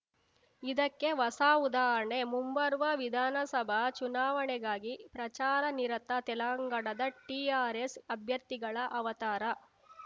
ಇದಕ್ಕೆ ಹೊಸ ಉದಾಹರಣೆ ಮುಂಬರುವ ವಿಧಾನಸಭಾ ಚುನಾವಣೆಗಾಗಿ ಪ್ರಚಾರ ನಿರತ ತೆಲಂಗಾಣದ ಟಿಆರ್‌ಎಸ್‌ ಅಭ್ಯರ್ಥಿಗಳ ಅವತಾರ